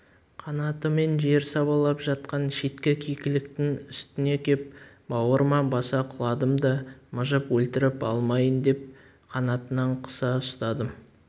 қанатымен жер сабалап жатқан шеткі кекіліктің үстіне кеп бауырыма баса құладым да мыжып өлтіріп алмайын деп қанатынан қыса ұстадым